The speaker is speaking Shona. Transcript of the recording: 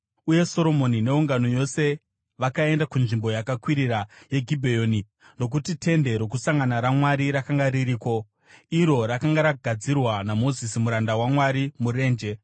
uye Soromoni neungano yose vakaenda kunzvimbo yakakwirira yeGibheoni, nokuti Tende Rokusangana raMwari rakanga ririko, iro rakanga ragadzirwa naMozisi muranda waMwari murenje.